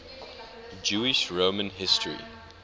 jewish roman history